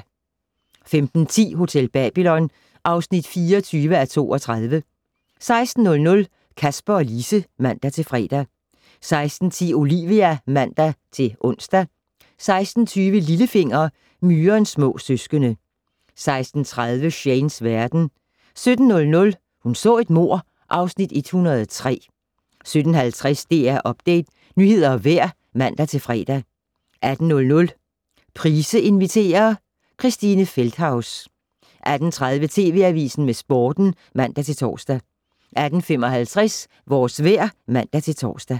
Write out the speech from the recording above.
15:10: Hotel Babylon (24:32) 16:00: Kasper og Lise (man-fre) 16:10: Olivia (man-ons) 16:20: Lillefinger - Myrens små søskende 16:30: Shanes verden 17:00: Hun så et mord (Afs. 103) 17:50: DR Update - nyheder og vejr (man-fre) 18:00: Price inviterer - Christine Feldthaus 18:30: TV Avisen med Sporten (man-tor) 18:55: Vores vejr (man-tor)